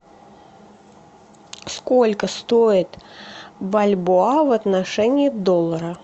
сколько стоит бальбоа в отношении доллара